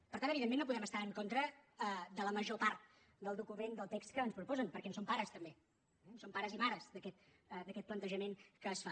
per tant evidentment no podem estar en contra de la major part del document del text que ens proposen perquè en som pares també eh som pares i mares d’aquest plantejament que es fa